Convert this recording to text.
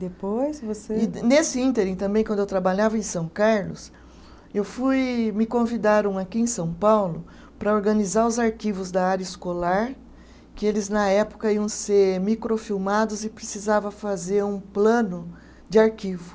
Depois você. Nesse ínterim também, quando eu trabalhava em São Carlos, eu fui, me convidaram aqui em São Paulo para organizar os arquivos da área escolar, que eles na época iam ser microfilmados e precisava fazer um plano de arquivo.